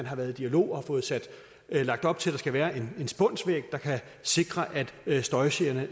har været i dialog og fået lagt op til at der skal være en spunsvæg der kan sikre at støjgenerne